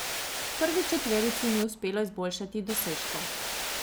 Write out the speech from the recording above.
Prvi četverici ni uspelo izboljšati dosežkov.